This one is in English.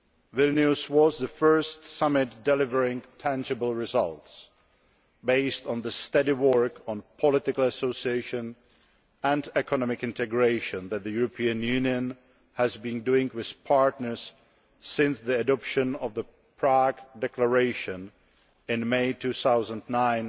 Vilnius was the first summit delivering tangible results, based on the steady work on political association and economic integration that the European Union has been doing with partners since the adoption of the Prague Declaration in May 2009